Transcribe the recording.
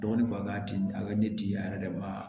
Dɔgɔnin bɔ a ka di a ye ne ti a yɛrɛ de ma